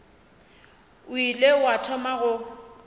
o ile wa thoma go